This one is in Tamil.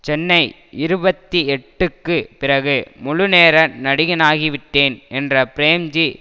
சென்னை இருபத்தி எட்டுக்கு பிறகு முழுநேர நடிகனாகிவிட்டேன் என்ற பிரேம்ஜி